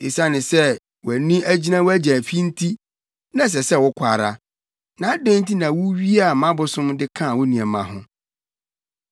Esiane sɛ wʼani agyina wʼagya fi nti, na ɛsɛ sɛ wokɔ ara. Na adɛn nti na wuwiaa mʼabosom de kaa wo nneɛma ho?”